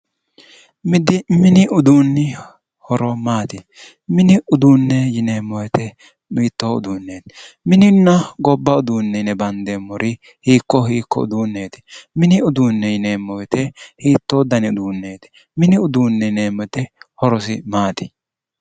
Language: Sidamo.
Mini uduunni horo maati? mini uduunne yineemmo woyite hiittoo uduunneeti? mininna gobba uduunne yine bandeemmori hiikko hiikko uduunneeti? mini uduunne yineemmo wote hiittoo dani uduunneeti? mini uduunne yineemmo wote horosi maati?